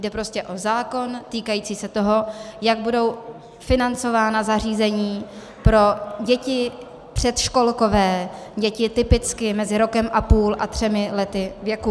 Jde prostě o zákon týkající se toho, jak budou financována zařízení pro děti předškolkové, děti typicky mezi rokem a půl a třemi lety věku.